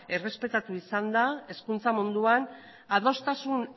errespetatu izan da hezkuntza munduan adostasun